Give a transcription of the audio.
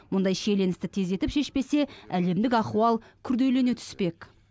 мұндай шиеленісті тездетіп шешпесе әлемдік ахуал күрделене түспек